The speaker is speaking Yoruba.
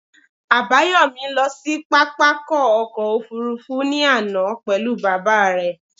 Àbáyòmí lọ sí pápákọ̀ ọkọ̀ òfurufú ní àná pelu baba re